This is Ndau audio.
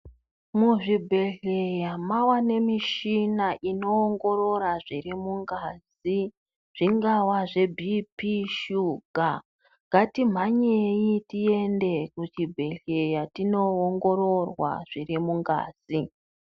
Muzvibhedhleya mavanemichina inongorora zviri mungazi. Zvingava zvebp, shuga ngatimhanyei tiende kuchibhedhleya tinoongororwa zviri mungazi.